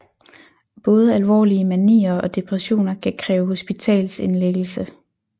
Både alvorlige manier og depressioner kan kræve hospitalsindlæggelse